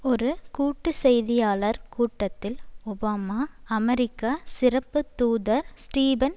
ஒரு கூட்டு செய்தியாளர் கூட்டத்தில் ஒபாமா அமெரிக்க சிறப்பு தூதர் ஸ்டீபன்